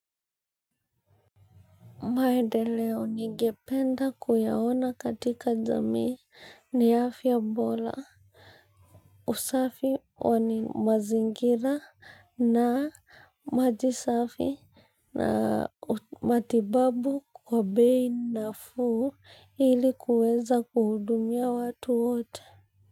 Maendeleo nigependa kuyaona katika jamii ni afya bota, usafi wa mazingira na maji safi na matibabu kwa bei nafuu ili kuweza kuhudumia watu wote.